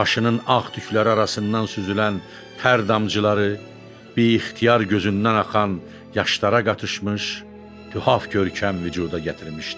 Başının ağ tükləri arasından süzülən tər damcıları bix-tiyar gözündən axan yaşlara qatışmış, qühaf görkəm vücuda gətirmişdi.